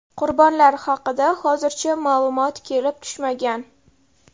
Qurbonlar haqida hozircha ma’lumot kelib tushmagan.